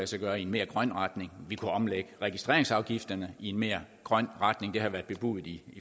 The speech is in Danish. sig gøre i en mere grøn retning vi kunne omlægge registreringsafgifterne i en mere grøn retning det har været bebudet i